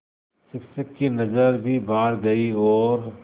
शिक्षक की नज़र भी बाहर गई और